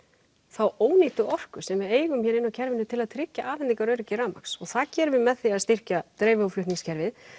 þá ónýttu orku sem við eigum hér inni á kerfinu til að tryggja afhendingaröryggi rafmagns og það gerum við með því að styrkja dreifi og flutningskerfið